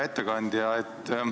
Hea ettekandja!